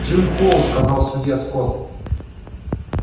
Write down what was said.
джим холл сказал судья скотт